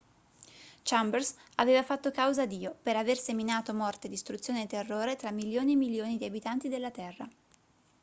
chambers aveva fatto causa a dio per aver seminato morte distruzione e terrore tra milioni e milioni di abitanti della terra